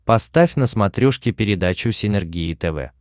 поставь на смотрешке передачу синергия тв